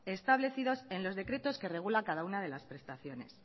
establecidos en los decretos que regula cada una de las prestaciones